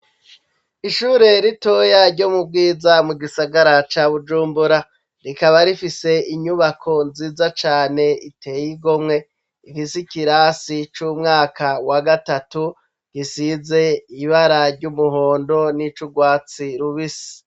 Ishure ritoya ryo mu bwiza mu gisagara ca Bujumbura, rikaba rifise inyubako nziza cane iteye igomwe rifise ikirasi c'umwaka wa gatatu, gisize ibara ry'umuhondo n'ic'urwatsi rubisi.